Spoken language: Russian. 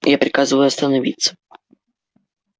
я приказываю остановиться